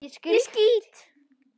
ÉG SKÝT!